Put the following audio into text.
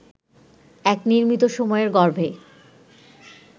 এক নির্মিত সময়ের গর্ভে